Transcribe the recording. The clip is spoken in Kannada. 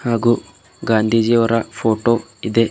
ಹಾಗೂ ಗಾಂಧಿಜೀ ಅವರ ಫೋಟೋ ಇದೆ.